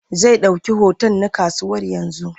Zai ɗauki hoton na kusurwa yanzu.